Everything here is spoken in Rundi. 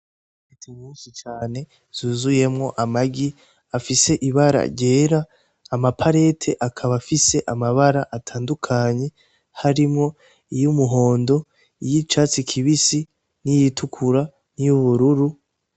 Ipareti musi cane zuzuyemwo amagi afise ibara ryera amaparete akaba afise amabara atandukanye harimwo iyo umuhondo iyo icatsi kibisi n'iyitukura niyubururu.